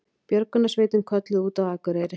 Björgunarsveitin kölluð út á Akureyri